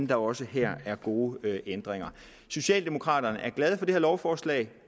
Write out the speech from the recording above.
der også her er gode ændringer socialdemokraterne er glade for det her lovforslag